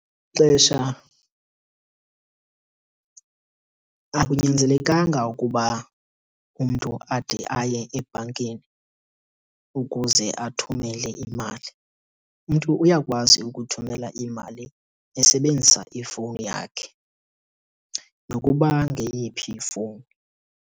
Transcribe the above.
Ixesha akunyanzelekanga ukuba umntu ade aye ebhankeni ukuze athumele imali. Umntu uyakwazi ukuthumela imali esebenzisa ifowuni yakhe nokuba ngeyiphi ifowuni.